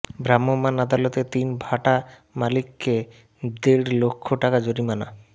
ভ্রাম্যমান আদালতে তিন ভাটা মালিককে দেড় লক্ষ টাকা জরিমানা